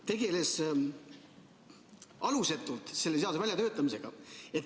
... tegeles alusetult selle seaduse väljatöötamisega.